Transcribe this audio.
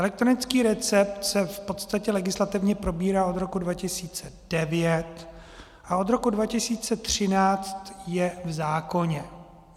Elektronický recept se v podstatě legislativně probírá od roku 2009 a od roku 2013 je v zákoně.